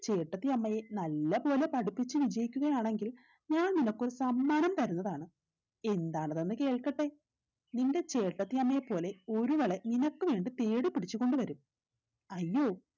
ചേട്ടത്തിയമ്മയെ നല്ല പോലെ പഠിപ്പിച്ചു വിജയിക്കുകയാണെങ്കിൽ ഞാൻ നിനക്കൊരു സമ്മാനം തരുന്നതാണ് എന്താണതെന്ന് കേൾക്കട്ടെ നിന്റെ ചേട്ടത്തിയമ്മയെപ്പോലെ ഒരുവളെ നിനക്ക് വേണ്ടി തേടിപ്പിടിച്ചു കൊണ്ടുവരും അയ്യോ